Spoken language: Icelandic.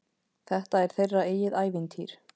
Þetta er þeirra eigið ævintýr.